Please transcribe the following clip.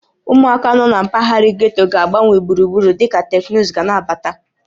Ụmụaka nọ na mpaghara getto ga-agbanwe gburugburu dịka teknụzụ ga na-abata